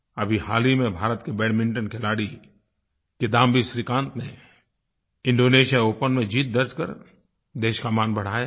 अभी हाल ही में भारत के बैडमिंटन खिलाड़ी किदाम्बी श्रीकांत ने इंडोनेशिया ओपन में जीत दर्ज़ कर देश का मान बढ़ाया है